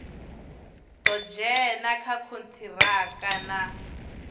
ḓo dzhena kha kontiraka na